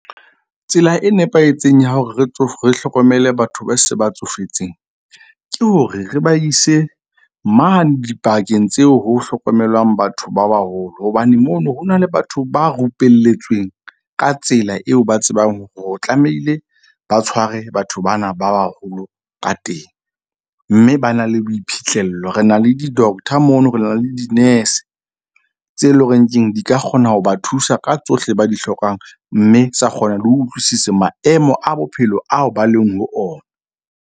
Tsela e nepahetseng ya hore re hlokomele batho ba se ba tsofetseng, ke hore re ba ise mane dibakeng tseo ho hlokomelwang batho ba baholo. Hobane mono ho na le batho ba rupelletsweng ka tsela eo ba tsebang hore o tlamehile ba tshware batho bana ba baholo ka teng. Mme ba na le boiphihlello. Re na le di-doctor mono. Re na le di-nurse tse leng horeng keng di ka kgona ho ba thusa ka tsohle, ba di hlokang. Mme tsa kgona le ho utlwisisa maemo a bophelo ao ba leng ho ona.